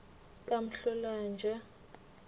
kamhlolanja